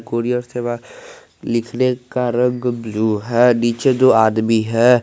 Courier सेवा लिखने का रंग ब्लू है नीचे दो आदमी हैं।